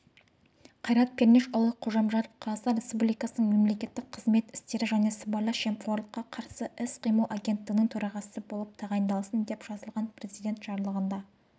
қайрат пернешұлы қожамжаров қазақстан республикасының мемлекеттік қызмет істері және сыбайлас жемқорлыққа қарсыіс-қимыл агенттігінің төрағасы болып тағайындалсын деп жазылған президент жарлығында